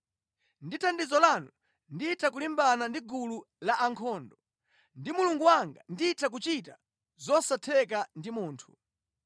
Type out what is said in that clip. Ndi thandizo lanu nditha kulimbana ndi gulu la ankhondo, ndi Mulungu wanga nditha kuchita zosatheka ndi munthu.